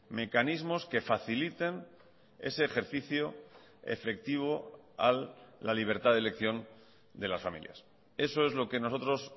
mecanismos que faciliten ese ejercicio efectivo a la libertad de elección de las familias eso es lo que nosotros